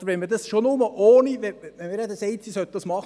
Wir haben gesagt, sie sollen es machen.